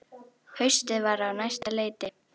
Haustið var á næsta leiti.